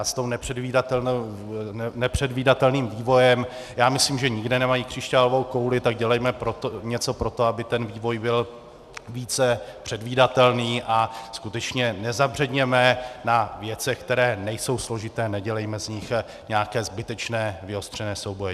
A s tím nepředvídatelným vývojem, já myslím, že nikde nemají křišťálovou kouli, tak dělejme něco pro to, aby ten vývoj byl více předvídatelný, a skutečně nezabředněme na věcech, které nejsou složité, nedělejme z nich nějaké zbytečné vyostřené souboje.